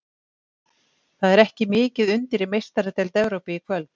Það er ekki mikið undir í Meistaradeild Evrópu í kvöld.